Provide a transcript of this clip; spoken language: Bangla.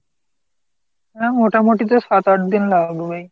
হা, মোটামুটি তো সাত আট দিন লাগবেই।